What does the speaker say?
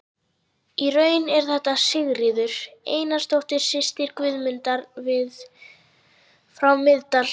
Í raun er þetta Sigríður Einarsdóttir, systir Guðmundar frá Miðdal.